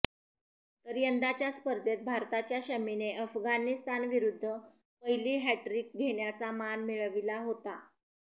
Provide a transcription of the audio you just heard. तर यंदाच्या स्पर्धेत भारताच्या शमीने अफगाणिस्तान विरुद्ध पहिली हॅट्ट्रिक घेण्याचा मान मिळविला होता